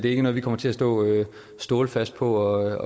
ikke noget vi kommer til at stå stålfast på at